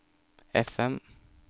FM